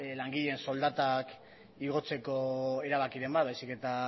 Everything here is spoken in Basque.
langileen soldatak igotzeko erabakiren bat baizik eta